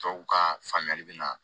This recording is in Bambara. Tɔw ka faamuyali bɛ na